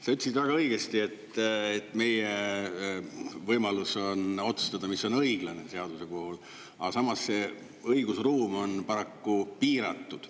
Sa ütlesid väga õigesti, et meie võimalus on otsustada, mis on õiglane seaduse puhul, aga samas see õigusruum on paraku piiratud.